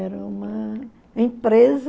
Era uma empresa...